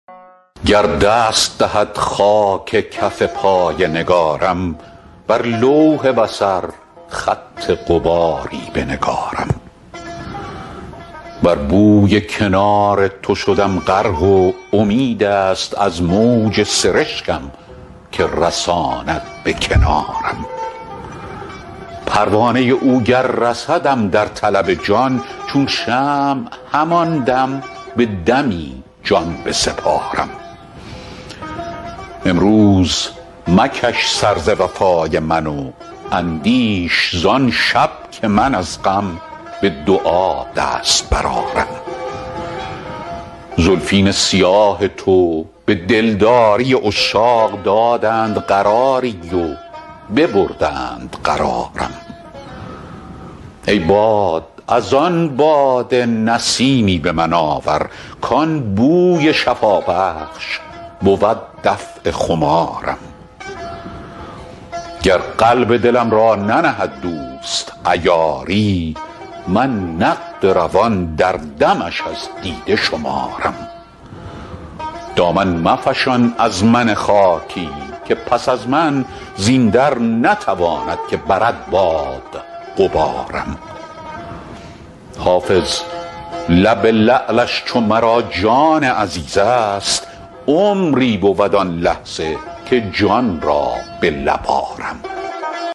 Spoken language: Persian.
گر دست دهد خاک کف پای نگارم بر لوح بصر خط غباری بنگارم بر بوی کنار تو شدم غرق و امید است از موج سرشکم که رساند به کنارم پروانه او گر رسدم در طلب جان چون شمع همان دم به دمی جان بسپارم امروز مکش سر ز وفای من و اندیش زان شب که من از غم به دعا دست برآرم زلفین سیاه تو به دلداری عشاق دادند قراری و ببردند قرارم ای باد از آن باده نسیمی به من آور کان بوی شفابخش بود دفع خمارم گر قلب دلم را ننهد دوست عیاری من نقد روان در دمش از دیده شمارم دامن مفشان از من خاکی که پس از من زین در نتواند که برد باد غبارم حافظ لب لعلش چو مرا جان عزیز است عمری بود آن لحظه که جان را به لب آرم